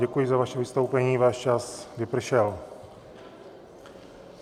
Děkuji za vaše vystoupení, váš čas vypršel.